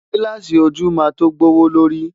Gílààsì ojú máa tó gbówó lórí.